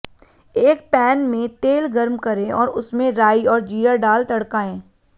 एक पैन में तेल गर्म करें और उसमें राई और जीरा डाल तड़काएं